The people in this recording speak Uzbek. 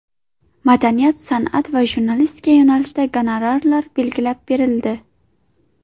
Madaniyat, san’at va jurnalistika yo‘nalishida gonorarlar belgilab berildi.